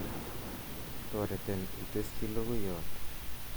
toreton itesyi logoyot